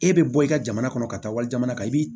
E bɛ bɔ i ka jamana kɔnɔ ka taa wali jamana kan i bi